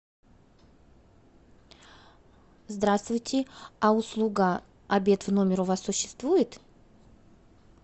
здравствуйте а услуга обед в номер у вас существует